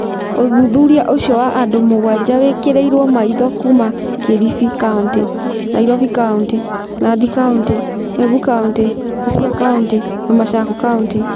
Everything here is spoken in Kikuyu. Ũthuthuria ũcio wa andũ mũgwanja wekĩrirũo maitho kuuma Kilifi County, Nairobi County, Nandi County, Embu County, Busia County, na Machakos County.